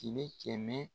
Fini kɛmɛ